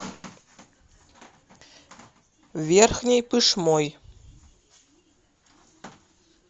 верхней пышмой